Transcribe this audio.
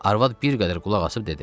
Arvad bir qədər qulaqasıb dedi: